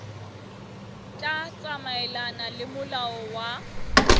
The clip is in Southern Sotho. tla tsamaelana le molao wa